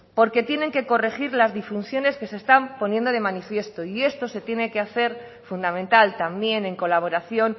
porque tienen que corregir las disfunciones que se están poniendo de manifiesto y esto se tiene que hacer fundamental también en colaboración